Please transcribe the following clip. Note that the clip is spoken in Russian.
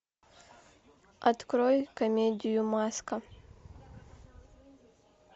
открой комедию маска